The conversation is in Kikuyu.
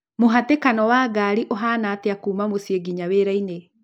mũhatĩkano wa ngari ũhaana Ĩtĩa kuuma mũciĩ nginya wĩra-inĩ